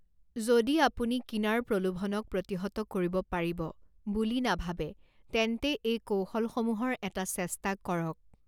যদি আপুনি কিনাৰ প্ৰলোভনক প্ৰতিহত কৰিব পাৰিব বুলি নাভাবে তেন্তে এই কৌশলসমূহৰ এটা চেষ্টা কৰক